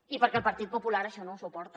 i perquè el partit popular això no ho suporta